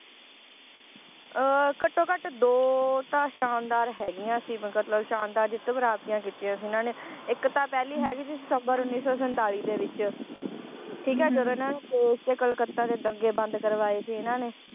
ਅਹ ਘੱਟੋ ਘੱਟ ਦੋ ਤਾਂ ਸ਼ਾਨਦਾਰ ਹੈਗੀਆਂ ਸੀ ਸ਼ਾਨਦਾਰ ਜਿੱਤ ਪ੍ਰਾਪਤੀਆਂ ਕੀਤੀਆਂ ਸੀ ਇਹਨਾਂ ਨੇ ਇਕ ਤਾਂ ਪਹਿਲੀ ਹੈਗੀ ਸੀ ਸਤੰਬਰ ਉੱਨੀ ਸੌ ਸੰਤਾਲੀ ਦੇ ਵਿਚ ਠੀਕ ਏ ਜਦੋ ਇਹਨਾਂ ਨੂੰ ਕਲਕੱਤਾ ਦੇ ਦੰਗੇ ਬੰਦ ਕਰਵਾਏ ਸੀ ਇਹਨਾਂ ਨੇ